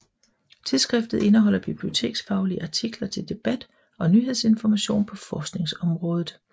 Tidsskriftet indeholder biblioteksfaglige artikler til debat og nyhedsinformation på forskningsbiblioteksområdet